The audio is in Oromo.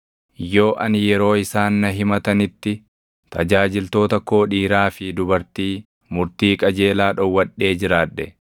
“Yoo ani yeroo isaan na himatanitti, tajaajiltoota koo dhiiraa fi dubartii murtii qajeelaa dhowwadhee jiraadhe,